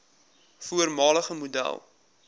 voormalige model